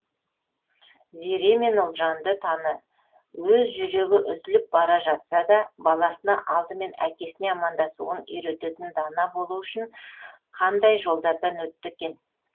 зере мен ұлжанды таны өз жүрегі үзіліп бара жатса да баласына алдымен әкесіне амандасуын үйрететін дана болуы үшін қандай жолдардан өтті екен